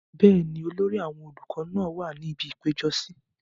bẹ́ẹ̀ni, olórí àwọn olùkọ náà wà ní ibi ìpéjọsí